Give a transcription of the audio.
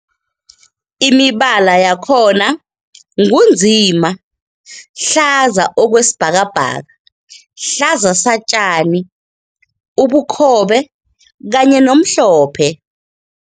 Imibala yakhona ngu nzima, hlaza okwesibhakabhaka, hlaza satjani, ubukhobe kanye nomhlophe.